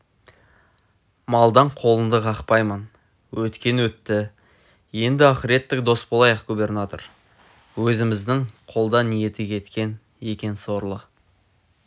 малдан қолыңды қақпаймын өткен өтті енді ақыреттік дос болайық губернатор өзіміздің қолда ниеті кеткен екен сорлы